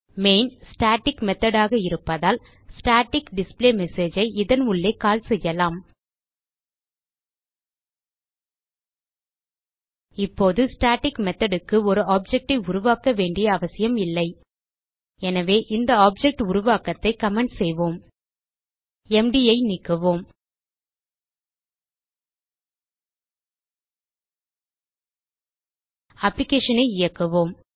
static methodஆக இருப்பதால் static display message ஐ இதன் உள்ளே கால் செய்யலாம் இப்போது ஸ்டாட்டிக் மெத்தோட் க்கு ஒரு ஆப்ஜெக்ட் ஐ உருவாக்க வேண்டிய அவசியம் இல்லை எனவே இந்த ஆப்ஜெக்ட் உருவாக்கத்தை கமெண்ட் செய்வோம் mdஐ நீக்குவோம் applicationஐ இயக்குவோம்